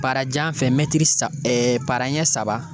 Parajan fɛ saba para ɲɛ saba